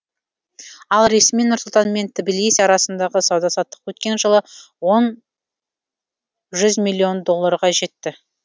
ал ресми нұр сұлтан мен тбилиси арасындағы сауда саттық өткен жылы жүз миллион долларға жетті